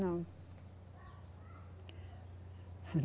Não.